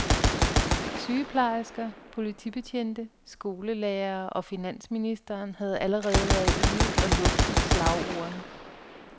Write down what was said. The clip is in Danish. Sygeplejersker, politibetjente, skolelærerne og finansministeren har allerede været ude og lufte slagordene.